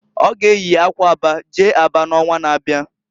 Ọ ga eyi akwa aba jee Aba n'onwa na-abia.